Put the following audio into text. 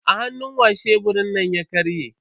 A hannu wa sheburin nan ya karye?